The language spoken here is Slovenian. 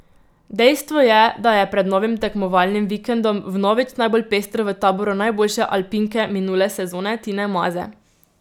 Dejstvo je, da je pred novim tekmovalnim vikendom vnovič najbolj pestro v taboru najboljše alpinke minule sezone Tine Maze.